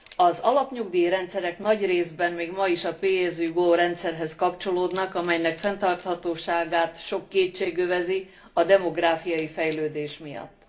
Az alapnyugdíjrendszerek nagy részben még ma is a pay as you go rendszerhez kapcsolódnak, amelynek fenntarthatóságát sok kétség övezi a demográfiai fejlődés miatt.